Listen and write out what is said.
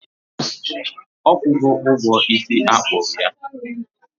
Ọ kwụgo ụgwọ isi a kpụ ya?